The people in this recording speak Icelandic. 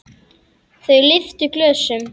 Þau lyftu glösum.